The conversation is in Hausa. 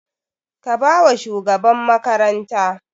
Ka ba wa shugaban makaranta!